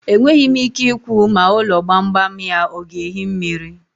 Enweghi m ike ikwu ma ulo gbam gbam ya o ga-ehi mmiri.